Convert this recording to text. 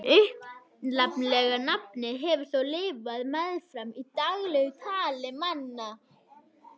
En upphaflega nafnið hefur þó lifað meðfram í daglegu tali manna.